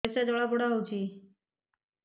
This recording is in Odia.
ପରିସ୍ରା ଜଳାପୋଡା ହଉଛି